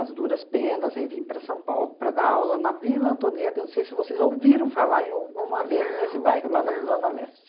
as duras penas, aí vim para São Paulo para dar aula na Vila Antonieta, não sei se vocês ouviram falar em alguma vez nesse bairro, lá na zona leste.